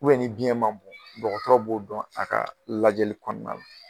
ni biɲɛn ma bon dɔgɔtɔrɔ b'o dɔn a ka lajɛli kɔnɔna na.